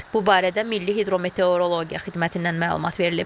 Bu barədə Milli Hidrometeorologiya Xidmətindən məlumat verilib.